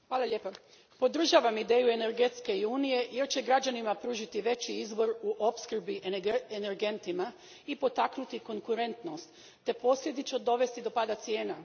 Gospodine predsjedniče, podržavam ideju energetske unije jer će građanima pružiti veći izbor u opskrbi energentima i potaknuti konkurentnost te posljedično dovesti do pada cijena.